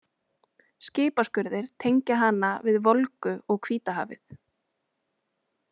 Skipaskurðir tengja hana við Volgu og Hvítahafið.